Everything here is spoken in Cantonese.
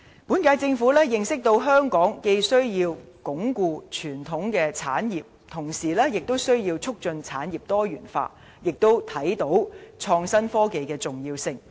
本屆政府認識到香港既要鞏固傳統產業，亦要促進產業多元化，並看到創新科技的重要性。